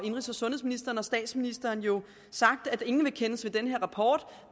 sundhedsministeren og statsministeren jo sagt at ingen vil kendes ved den her rapport